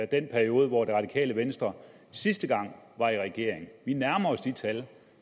den periode hvor det radikale venstre sidste gang var i regering vi nærmer os de tal det